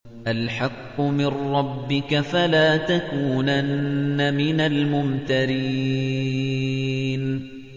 الْحَقُّ مِن رَّبِّكَ ۖ فَلَا تَكُونَنَّ مِنَ الْمُمْتَرِينَ